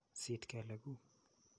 Siit kelek kuuk.